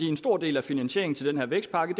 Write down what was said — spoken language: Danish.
en stor del af finansieringen til den her vækstpakke